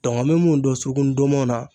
Dɔnku n be mun dɔn suruku ndɔnmɔn na